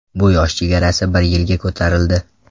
Bu yosh chegarasi bir yilga ko‘tarildi.